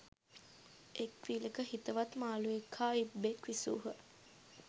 එක් විලක හිතවත් මාළුවෙක් හා ඉබ්බෙක් විසූහ.